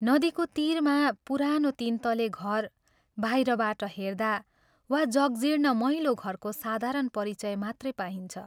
नदीको तीरमा पुरानो तीन तले घर बाहिरबाट हेर्दा वा जगजीर्ण मैलो घरको साधारण परिचय मात्रै पाइन्छ।